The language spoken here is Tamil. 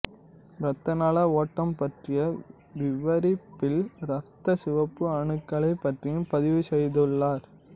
இரத்த நாள ஓட்டம் பற்றிய விவரிப்பில் இரத்தச் சிவப்பு அணுக்களைப் பற்றியும் பதிவு செய்துள்ளார்